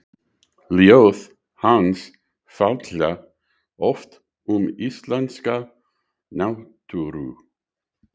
Ljóð hans fjalla oft um íslenska náttúru.